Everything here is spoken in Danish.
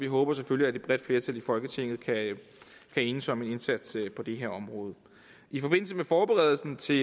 håber selvfølgelig at et bredt flertal i folketinget kan enes om en indsats på det her område i forbindelse med forberedelsen til